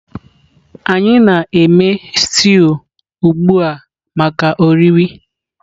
anyị na-eme stew ugbu a maka oriri.